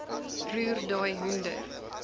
roer daai hoender